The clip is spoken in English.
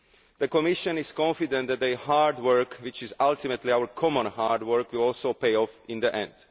The Commission is confident that their hard work, which is ultimately our common hard work, will also pay off in the end.